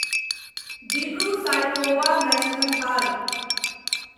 Dibru Saikhowa national park